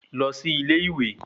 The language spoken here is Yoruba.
Lọ sí ilé-ìwé